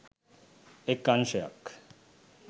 එක් අංශයක්